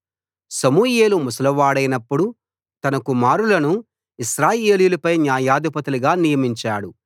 సమూయేలు ముసలివాడైనప్పుడు తన కుమారులను ఇశ్రాయేలీయులపై న్యాయాధిపతులుగా నియమించాడు